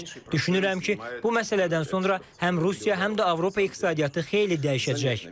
Düşünürəm ki, bu məsələdən sonra həm Rusiya, həm də Avropa iqtisadiyyatı xeyli dəyişəcək.